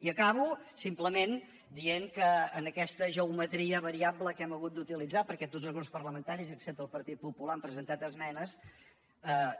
i acabo simplement dient que en aquesta geometria variable que hem hagut d’utilitzar perquè tots els grups parlamentaris excepte el partit popular hi han presentat esmenes